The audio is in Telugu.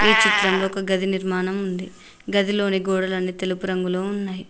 ఈ చిత్రంలో ఒక గదినిర్మానం ఉంది గదిలోని గోడలన్నీ తెలుపు రంగులో ఉన్నాయి.